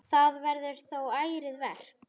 Það verður þó ærið verk.